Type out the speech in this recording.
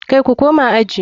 Kai ku koma aji.